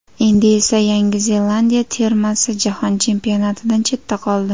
Endi esa Yangi Zelandiya termasi Jahon Chempionatidan chetda qoldi.